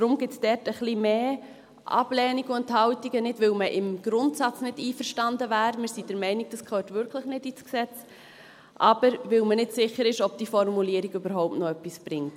Deswegen gibt es dort ein wenig mehr Ablehnung und Enthaltungen, nicht, weil man im Grundsatz nicht einverstanden wäre – wir sind der Meinung, dass das wirklich nicht ins Gesetz gehört –, sondern weil man nicht sicher ist, ob diese Formulierung überhaupt noch etwas bringt.